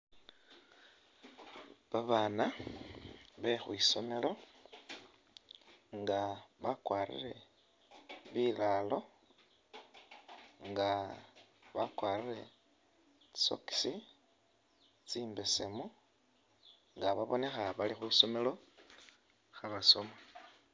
Babaana be khwisomelo nga bakwarire bilalo nga bakwarire tsi sokisi tsimbesemu nga babonekha bali khwisomelo khabasoma.